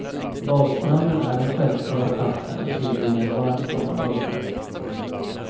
Badstranden är den självklara platsen att tillbringa en varm sommardag på.